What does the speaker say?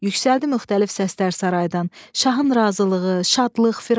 Yüksəldi müxtəlif səslər saraydan: "Şahın razılığı, şadlıq, firavan."